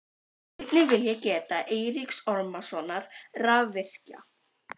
Einnig vil ég geta Eiríks Ormssonar rafvirkja.